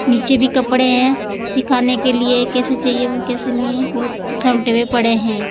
नीचे भी कपड़े है दिखाने के लिए कैसे चाहिए और कैसे नही है बहुत भी पड़े है।